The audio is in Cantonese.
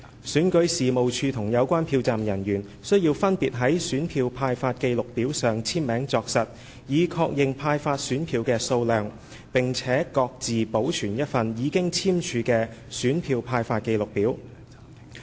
選舉事務處及有關票站人員須分別在選票派發記錄表上簽名作實，以確認派發選票的數量，並各自保存一份已簽署的選票派發記錄表。